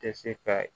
Tɛ se ka